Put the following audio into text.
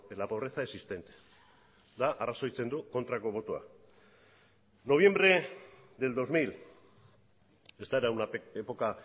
la pobreza existente arrazoitzen du kontrako botoa noviembre del dos mil esta era una época